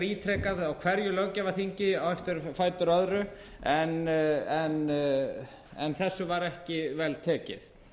ítrekað á hverju löggjafarþingi á fætur öðru en þessu var ekki vel tekið